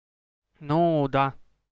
ну да